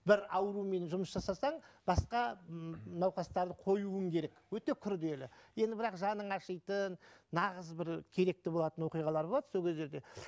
бір аурумен жұмыс жасасаң басқа ммм науқастарды коюың керек өте күрделі енді бірақ жаның ашитын нағыз бір керекті болатын оқиғалар болады сол кездерде